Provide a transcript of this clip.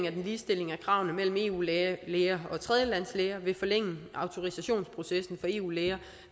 at en ligestilling af kravene mellem eu læger og tredjelandslæger vil forlænge autorisationsprocessen for eu læger